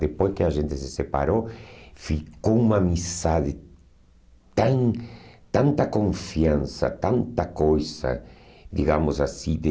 Depois que a gente se separou, ficou uma amizade, tan tanta confiança, tanta coisa, digamos assim, de...